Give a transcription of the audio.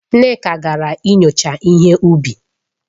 Nneka gara inyocha ihe ubi.